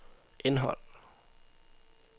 indhold